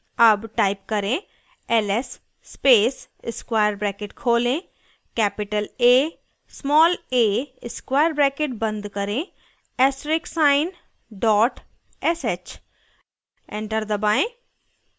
अब type करें ls space square bracket खोलें capital a small a square bracket बंद करें asterisk sign dot sh enter दबाएं